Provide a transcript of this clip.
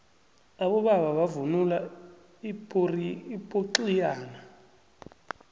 abobaba bavunula ipoxiyane